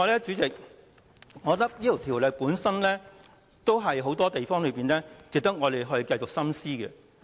主席，我認為這項《條例草案》有很多方面值得我們繼續深思。